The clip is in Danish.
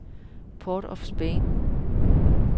Port of Spain